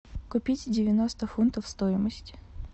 купить девяносто фунтов стоимость